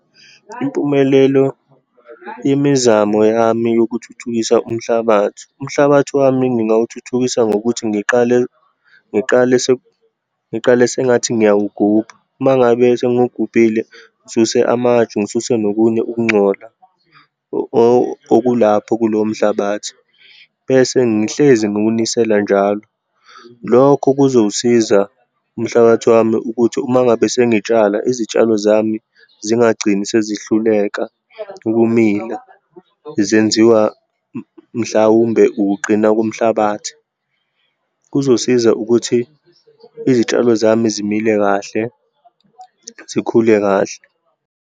Impumelelo, imizamo yami yokuthuthukisa umhlabathi. Umhlabathi wami ngingawuthuthikisa ngokuthi ngiqale, ngiqale ngiqale sengathi ngiyawugubha. Uma ngabe sengengiwugubhile, ngisuse amatshe, ngisuse nokunye ukungcola okulapho kuloyo mhlabathi, bese ngihlezi ngiwinisela njalo. Lokho kuzowusiza umhlabathi wami ukuthi uma ngabe sengitshala, izitshalo zami zingagcini sezihluleka ukumila, zenziwa mhlawumbe, ukuqina komhlabathi. Kuzosiza ukuthi izitshalo zami zimile kahle, zikhule kahle.